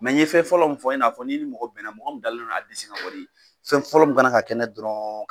Mɛ n ye fɛn fɔlɔ min fɔ, i n'a fɔ ni i mɔgɔ bɛnna mɔgɔ min dalen don a disi kan kɔni, fɛn fɔlɔ min ka na ka kɛ n'a ye dɔrɔn